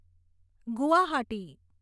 Guwahati